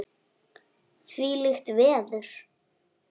Þvílíkt veður!